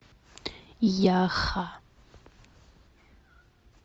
яха